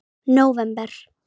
nóvember